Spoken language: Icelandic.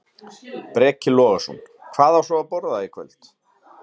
Breki Logason: Hvað á svo að borða í kvöld?